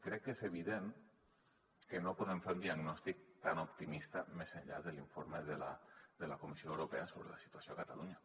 crec que és evident que no podem fer un diagnòstic tan optimista més enllà de l’informe de la comissió europea sobre la situació a catalunya